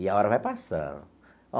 E a hora vai passando.